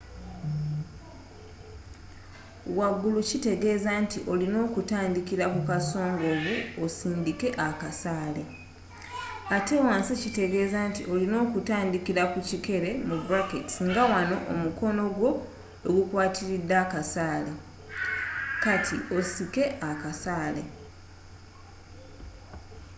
wagulu kitegeeza nti olina kutandikira ku kasongovu osindikke akasaale ate wansi kitegeeza nti olina kutandikira ku kikere nga wano omukono gwo we gukwatiridde akasaale kati osike akasaale